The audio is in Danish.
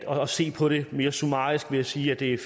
se på det mere summarisk ved at sige at det er